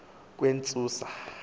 kwentsusa